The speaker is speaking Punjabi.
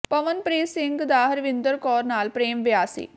ਪਵਨਪ੍ਰੀਤ ਸਿੰਘ ਦਾ ਹਰਵਿੰਦਰ ਕੌਰ ਨਾਲ ਪ੍ਰੇਮ ਵਿਆਹ ਸੀ